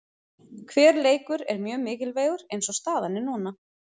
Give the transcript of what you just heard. Hver leikur er mjög mikilvægur eins og staðan er núna.